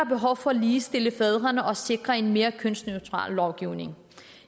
behov for at ligestille fædrene og sikre en mere kønsneutral lovgivning